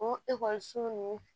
O ekɔliso ninnu